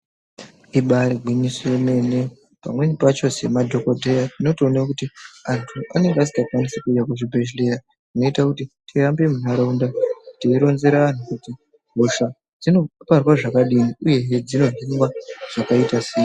Ibare gwinyiso remene, pamweni pacho semadhogodheya unotowona kuti antu anenge asingakwanise kuwuya muchibhedlera zvinoita kuti tihambe muntaraunda tiyironzera anhu, kuti hosha dzinoparwa zvakadii uye dzinodzimwa zvakaita seyi.